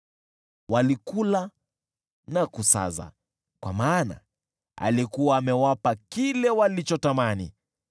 Walikula na kusaza, kwa maana alikuwa amewapa kile walichotamani.